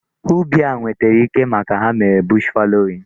Ubi a nwetere ike maka ha mere bush fallowing.